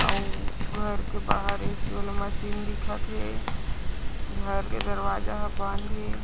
आउ घर के बाहर ए. सी . वाला मशीन दिखत हे घर के दरवाज़ा ह बंद हे।